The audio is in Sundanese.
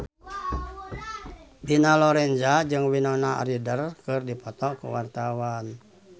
Dina Lorenza jeung Winona Ryder keur dipoto ku wartawan